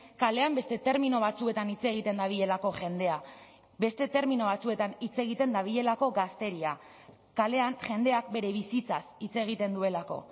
kalean beste termino batzuetan hitz egiten dabilelako jendea beste termino batzuetan hitz egiten dabilelako gazteria kalean jendeak bere bizitzaz hitz egiten duelako